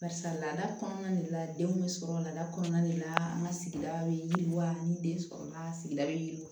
Barisa laada kɔnɔna de la denw bɛ sɔrɔ lada kɔnɔna de la an ka sigida bɛ yiriwa ni den sɔrɔ yen wa